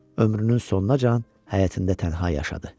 Ömrünün sonunacan həyətində tənha yaşadı.